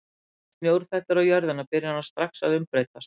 Þegar snjór fellur á jörðina byrjar hann strax að umbreytast.